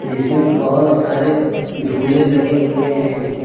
जिसमें बहोत सारे झूले लगे हुए हैं।